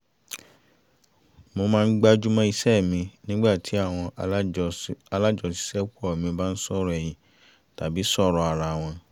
mo máa ń ń gbajúmọ̀ iṣẹ́ mi nígbà tí àwọn alájọṣiṣẹ́pọ̀ mi bá ń sọ̀rọ̀ ẹ̀yìn tàbí sọ̀rọ̀ ara wọn